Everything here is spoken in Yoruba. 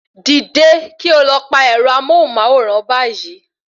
Dìde kí o lọ pa ẹ̀rọ amóhùnmáwòrán báyìí